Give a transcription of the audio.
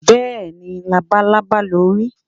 béèni, labalábá lo ri